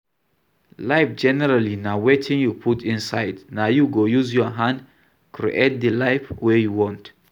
Life generally na wetin you put inside, na you go use your hand create the life wey you want